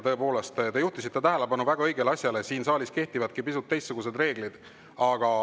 Tõepoolest, te juhtisite tähelepanu väga õigele asjale, siin saalis kehtivadki pisut teistsugused reeglid.